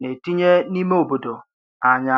na-etinye n’ime obodo anya.